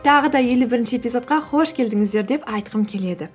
тағы да елу бірінші эпизодқа қош келдіңіздер деп айтқым келеді